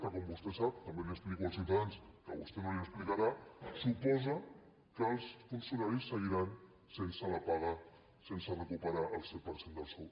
que com vostè sap també ho explico als ciutadans que vostè no els ho explicarà suposa que els funcionaris seguiran sense la paga sense recuperar el cent per cent del sou